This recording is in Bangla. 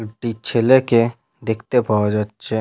একটি ছেলেকে দেখতে পাওয়া যাচ্ছে।